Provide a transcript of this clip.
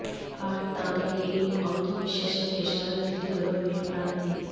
আর তাঁদের এই অন্ধবিশ্বাসের খেসারত দিতে হল মেয়ের প্রাণ দিয়ে